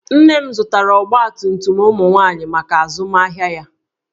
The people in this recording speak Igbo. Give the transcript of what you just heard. Nne m zụtara ọgbatumtum ụmụ nwaanyị maka azụmahịa ya